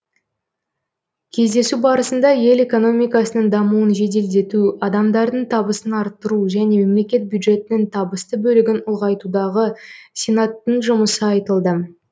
кездесу барысында ел экономикасының дамуын жеделдету адамдардың табысын арттыру және мемлекет бюджетінің табысты бөлігін ұлғайтудағы сенаттың жұмысы айтылды